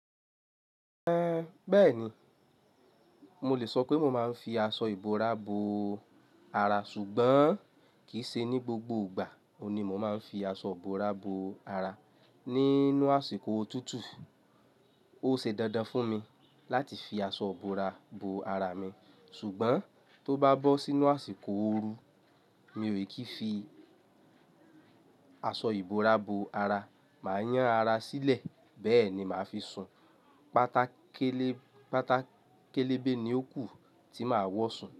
Ẹ̀ bẹ́ẹ̀ni, mo lè sọ pé mo máa ń fi aṣọ ìbora bo ara ṣùgbọ́n kì í ṣe ní gbogbo ìgbà oun ni mo máa ń fi aṣọ ìbora bo ara. Nínú àsìkò òtútù, ó ṣe dandan fún mi láti fi aṣọ ìbora bo ara mi ṣùgbọ́n tó bá bọ́ sínú àsìkò ooru mi ò kí fi aṣọ ìbora bo ara, màá yán ara sílẹ̀ bẹ́ẹ̀ ni màá fi sùn. Pátákélé, pátákélébé ni ó kù tí màá wọ sùn.